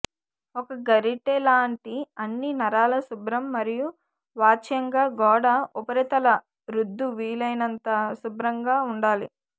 ఒక గరిటెలాంటి అన్ని నరాల శుభ్రం మరియు వాచ్యంగా గోడ ఉపరితల రుద్దు వీలైనంత శుభ్రంగా ఉండాలి